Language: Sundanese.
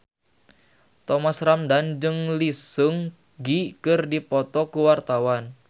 Thomas Ramdhan jeung Lee Seung Gi keur dipoto ku wartawan